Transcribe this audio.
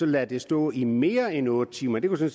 ladt den stå i mere end otte timer den